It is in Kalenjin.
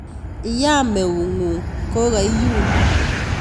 Iyam eungung kokaiyun